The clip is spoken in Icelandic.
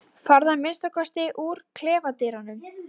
Farðu að minnsta kosti úr klefadyrunum.